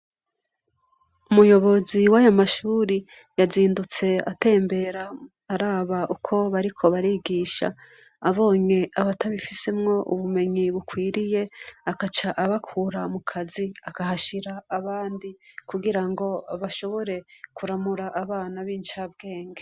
Umuyobozi w'aya mashure yazindutse atembera, araba uko bariko barigisha, abonye abatabifisemwo ubumenyi bukwiriye, agaca abakura mu kazi akahashira abandi, kugira ngo bashobore kuramura abana b'incabwenge.